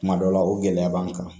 Kuma dɔ la o gɛlɛya b'an kan